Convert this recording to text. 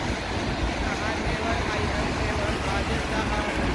की अहाँ never I have ever बाजब् चाहब